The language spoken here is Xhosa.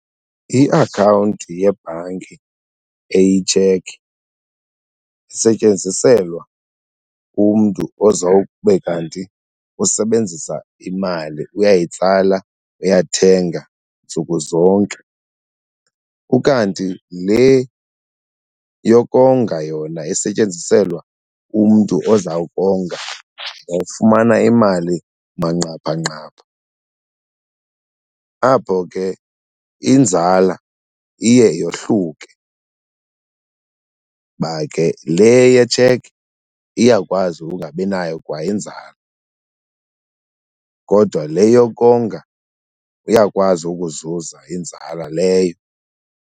Iakhawunti yebhanki eyitshekhi isetyenziselwa umntu ozawube kanti usebenzisa imali uyayitsala, uyathenga ntsuku zonke. Ukanti le yokonga yona isetyenziselwa umntu ozawukonga nofumana imali manqaphanqapha. Apho ke inzala iye yohluke, ba ke le yetshekhi iyakwazi ukungabi nayo kwa inzala kodwa le yokonga iyakwazi ukuzuza inzala leyo.